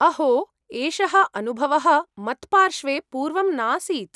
अहो! एषः अनुभवः मत्पार्श्वे पूर्वं नासीत्।